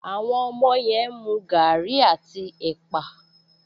Àwọn ọmọ yẹn ń mu gaàrí àti ẹ̀pà